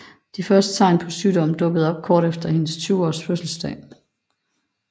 De første tegn på sygdom dukkede op kort før hendes 20 års fødselsdag